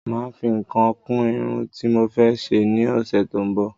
Máà fi nǹkan kún Irun tí mo fẹ́ ṣe ni ọsẹ tó ń bò